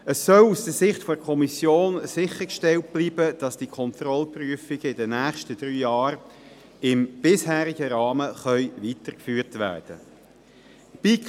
Es soll aus Sicht der Kommission sichergestellt bleiben, dass die Kontrollprüfungen in den nächsten drei Jahren im bisherigen Rahmen weitergeführt werden können.